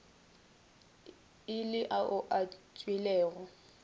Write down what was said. e le ao a tšwilego